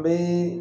Be